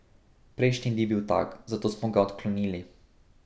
Prejšnji ni bil tak, zato smo ga odklonili.